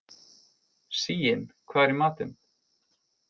Sigyn, hvað er í matinn?